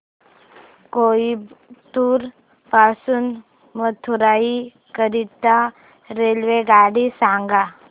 कोइंबतूर पासून मदुराई करीता रेल्वेगाडी सांगा